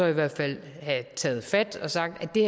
i hvert fald have taget fat og sagt det